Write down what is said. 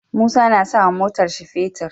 Musa na sawa motar shi fetir